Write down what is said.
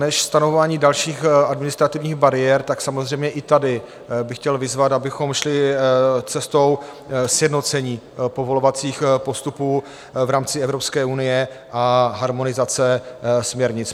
Než stanovování dalších administrativních bariér, tak samozřejmě i tady bych chtěl vyzvat, abychom šli cestou sjednocení povolovacích postupů v rámci Evropské unie a harmonizace směrnic.